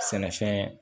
Sɛnɛfɛn